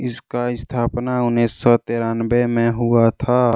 इसका स्थापना उन्नीस सौ तिरानबे में हुआ था।